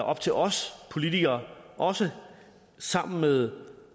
op til os politikere også sammen med